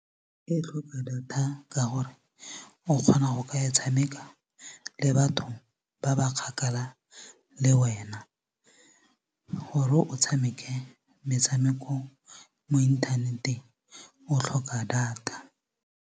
E tlhoka data ka gore o kgona go ka e tshameka le batho ba ba kgakala le wena gore o tshameke metshameko mo inthaneteng o tlhoka data.